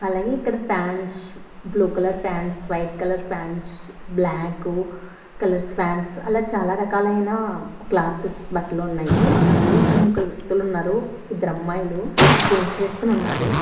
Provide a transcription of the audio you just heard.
అలాగే ఇక్కడ pants blue colour pants white colour pants black colours pants అలా చాలా రకాలైన క్లాథెస్ బట్టలు ఉన్నాయి అలాగే అక్కడ ముగ్గురు వ్యక్తులు ఉన్నారు ఇద్దరు అమ్మాయిలు జీన్స్ వేసుకుని ఉన్నారు.